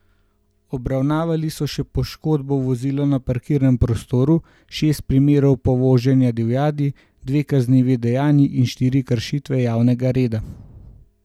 Obravnavali so še poškodbo vozila na parkirnem prostoru, šest primerov povoženja divjadi, dve kaznivi dejanji in štiri kršitve javnega reda.